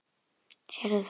Sérðu það?